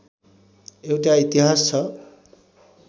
एउटा इतिहास छ